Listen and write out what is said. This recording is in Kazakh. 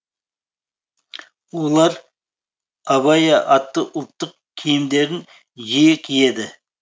олар абайя атты ұлттық киімдерін жиі киеді